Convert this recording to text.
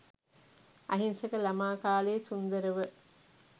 අහිංසක ළමා කාලය සුන්දරව